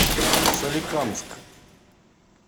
соликамск